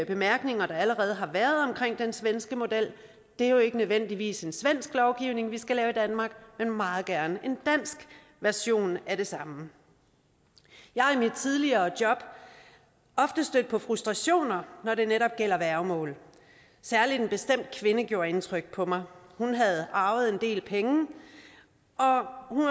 bemærkninger der allerede har været om den svenske model det er jo ikke nødvendigvis en svensk lovgivning vi skal lave i danmark men meget gerne en dansk version af det samme jeg er i mit tidligere job ofte stødt på frustrationer når det netop gælder værgemål særlig en bestemt kvinde gjorde indtryk på mig hun havde arvet en del penge